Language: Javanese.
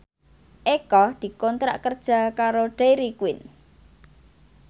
Eko dikontrak kerja karo Dairy Queen